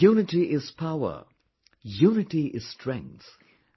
Unity is Power, Unity is strength,